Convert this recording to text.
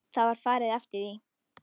Það var farið eftir því.